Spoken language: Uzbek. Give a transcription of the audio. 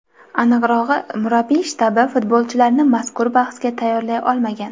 Aniqrog‘i, murabbiylar shtabi futbolchilarni mazkur bahsga tayyorlay olmagan.